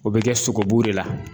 O bɛ kɛ sogobu de la.